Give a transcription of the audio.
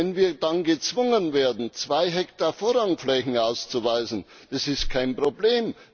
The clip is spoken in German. Wenn wir dann gezwungen werden, 2 Hektar Vorrangflächen auszuweisen, dann ist das kein Problem.